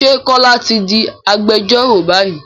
Ṣé Kọ́lá ti di agbẹjọ́rò báyìí?